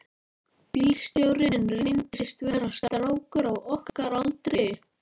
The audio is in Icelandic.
Bílstjórinn reyndist vera strákur á okkar aldri.